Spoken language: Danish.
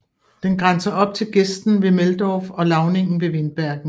Den grænser op til gesten ved Meldorf og lavningen ved Windbergen